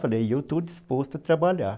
Eu falei, eu estou disposto a trabalhar.